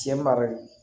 Cɛ mara de